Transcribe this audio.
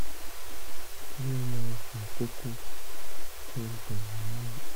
kí ló máa ń fa kókó tó ń dunni ní ẹnu?